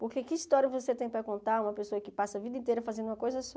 Porque que história você tem para contar uma pessoa que passa a vida inteira fazendo uma coisa só?